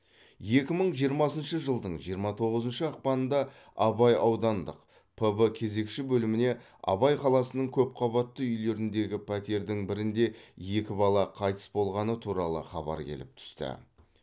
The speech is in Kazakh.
екі мың жиырмасыншы жылдың жиырма тоғызыншы ақпанда абай аудандық пб кезекші бөліміне абай қаласының көпқабатты үйлеріндегі пәтердің бірінде екі бала қайтыс болғаны туралы хабар келіп түсті